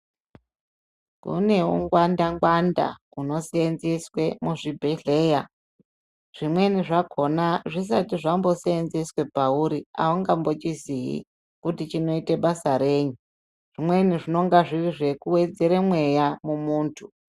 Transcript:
Kune ungwanda ngwanda hunoseenzeswe muzvibhedhlera. Zvimweni zvakona zvisati zvambosenzeswa pauri aungambochizii kuti chinoite basa reyi . Zvimweni zvinenga zviri zvekuwedzera mweya mumuntu.